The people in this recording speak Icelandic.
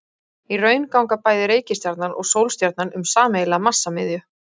Í raun ganga bæði reikistjarnan og sólstjarnan um sameiginlega massamiðju.